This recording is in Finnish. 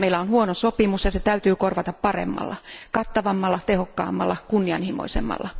Meillä on huono sopimus, ja se täytyy korvata paremmalla, kattavammalla, tehokkaammalla ja kunnianhimoisemmalla.